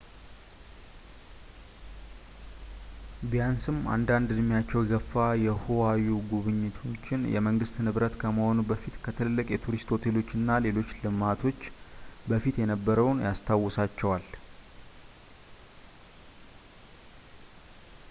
ቢያንስም አንዳንድ እድሜያቸው የገፋ የሁዋዪ ጎብኚዎችን የመንግስት ንብረት ከመሆኑ በፊት ከትልልቅ የቱሪስት ሆቴሎች እና ሌሎች ልማቶች በፊት የነበረውን ያስታውሳቸዋል